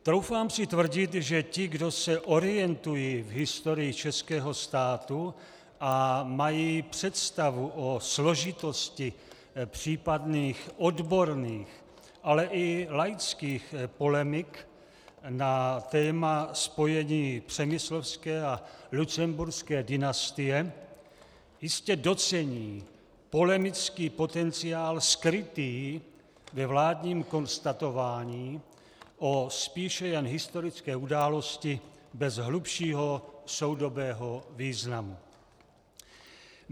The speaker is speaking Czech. Troufám si tvrdit, že ti, kdo se orientují v historii českého státu a mají představu o složitosti případných odborných, ale i laických polemik na téma spojení přemyslovské a lucemburské dynastie, jistě docení polemický potenciál skrytý ve vládním konstatování o spíše jen historické události bez hlubšího soudobého významu.